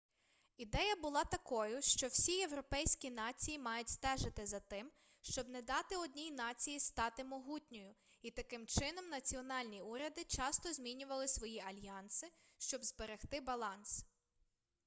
ідея була такою що всі європейські нації мають стежити за тим щоб не дати одній нації стати могутньою і таким чином національні уряди часто змінювали свої альянси щоб зберегти баланс